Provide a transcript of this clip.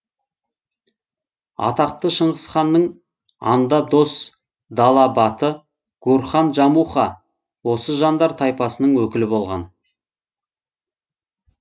атақты шынғысханның анда дос дала баты гурхан жамуха осы жандар тайпасының өкілі болған